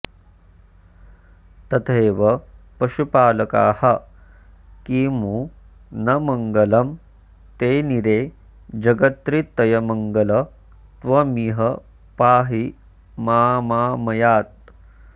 तथैव पशुपालकाः किमु न मङ्गलं तेनिरे जगत्रितयमङ्गल त्वमिह पाहि मामामयात्